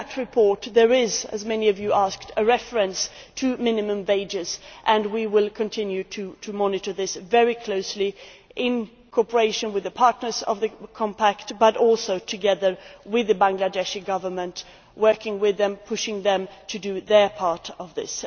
In that report there is, as many Members asked, a reference to minimum wages and we will continue to monitor this very closely, in cooperation with partners in the Compact but also together with the Bangladeshi Government, working with them, pushing them, to do their part in this.